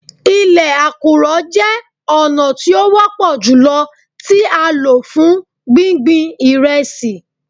Ilẹ̀ àkùrọ̀ jẹ́ ọ̀nà tí ó wọ́pọ̀ jùlọ tí a lò fún gbíngbin ìrẹsì.